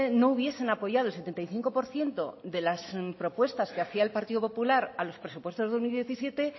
no hubiesen apoyado el setenta y cinco por ciento de las propuestas que hacía el partido popular a los presupuestos del dos mil diecisiete